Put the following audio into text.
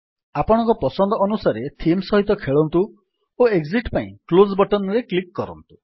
ଆପଣଙ୍କ ପସନ୍ଦ ଅନୁସାରେ ଥିମ୍ ସହିତ ଖେଳନ୍ତୁ ଓ ଏକ୍ଜିଟ୍ ପାଇଁ କ୍ଲୋଜ୍ ବଟନ୍ ରେ କ୍ଲିକ୍ କରନ୍ତୁ